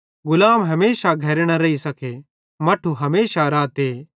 गुलाम हमेशा घरे न रेइ सके मट्ठू हमेशा रहते